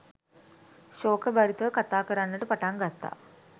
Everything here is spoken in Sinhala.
ශෝකභරිතව කථා කරන්නට පටන් ගත්තා.